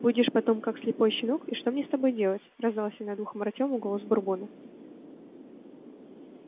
будешь потом как слепой щенок и что мне с тобой делать раздался над ухом артема голос бурбона